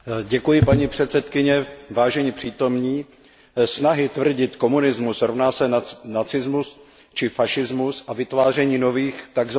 Paní předsedkyně, vážení přítomní, snahy tvrdit, že komunismus rovná se nacismus či fašismus, a vytváření nových tzv.